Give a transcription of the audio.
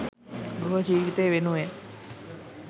ගෘහ ජීවිතය වෙනුවෙන්